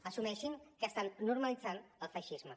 assumeixin que estan normalitzant el feixisme